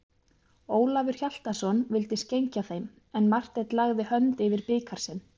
Ólafur Hjaltason vildi skenkja þeim, en Marteinn lagði hönd yfir bikar sinn.